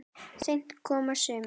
Seint koma sumir.